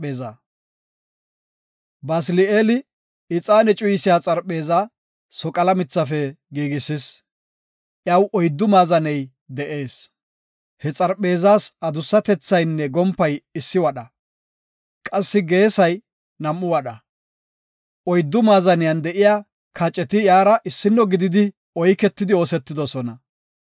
Basili7eeli ixaane cuyisiya xarpheeza soqala mithafe giigisis. Iyaw oyddu maazaney de7ees. He xarpheezas adussatethaynne gompay issi wadha; qassi geesay nam7u wadha. Oyddu maazaniyan de7iya kaceti iyara issino gidi oyketidi oosetidosona.